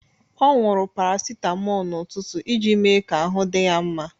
Ọ owuru paracetamol n'ụtụtụ iji mee ka ahụ dị ya mma